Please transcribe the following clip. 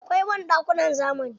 Akwai banɗakunan zamani.